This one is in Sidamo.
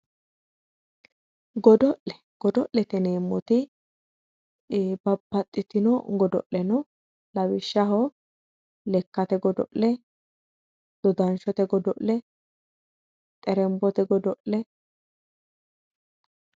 Godo'le, godo'lete yineemmoti babbaxitino godo'le no ,lawishshaho lekkate godo'le ,dodanshote godo'le ,xertote godo'le